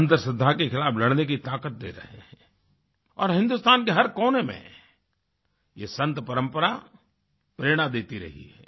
अंधश्रद्धा के खिलाफ लड़ने की ताकत दे रहे हैं और हिंदुस्तान के हर कोने में यह संत परंपरा प्रेरणा देती रही है